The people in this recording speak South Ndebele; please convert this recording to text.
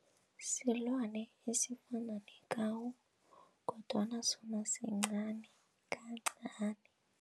Silwane esifana kodwana sona sincani kancani.